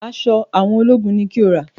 Aṣọ àwọn ológun ni kí o rà!